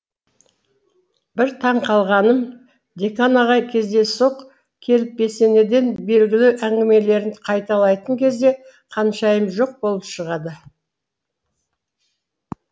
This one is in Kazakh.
бір таң қалғаным декан ағай кездейсоқ келіп бесенеден белгілі әңгімелерін қайталайтын кезде қаншайым жоқ болып шығады